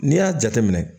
N'i y'a jateminɛ